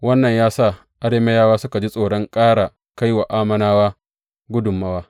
Wannan ya sa Arameyawa suka ji tsoron ƙara kai wa Ammonawa gudummawa.